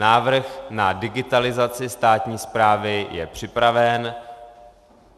Návrh na digitalizaci státní správy je připraven.